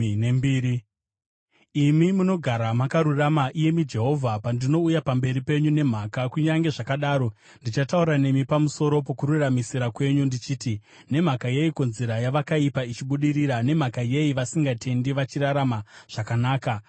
Imi munogara makarurama, iyemi Jehovha, pandinouya pamberi penyu nemhaka. Kunyange zvakadaro ndichataura nemi pamusoro pokururamisira kwenyu, ndichiti: Nemhaka yeiko nzira yavakaipa ichibudirira? Nemhaka yei vasingatendi vachirarama zvakanaka?